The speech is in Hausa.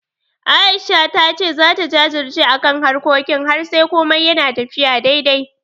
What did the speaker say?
A'isha ta ce zata jajirce akan harkokin har sai komai yana tafiya daidai.